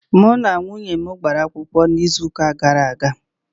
Mụ na nwunye m gbara akwụkwọ n'izuuka gara aga.